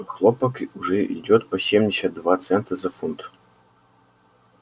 хлопок уже идёт по семьдесят два цента за фунт